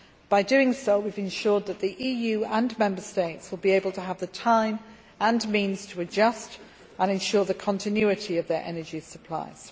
By doing so we have ensured that the EU and Member States will be able to have the time and means to adjust and ensure the continuity of their energy supplies.